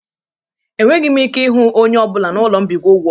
Enweghị m ike ịra onye ọ bụla na ụlọ mbikọ ụgwọ